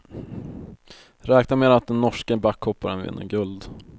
Räkna med att den norske backhopparen vinner guld.